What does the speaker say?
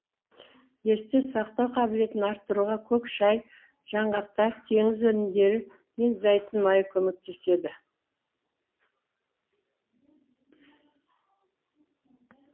есте сақтау қабілетін арттыруға көк шай жаңғақтар теңіз өнімдері мен зәйтүн майы көмектеседі